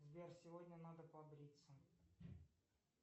сбер сегодня надо побриться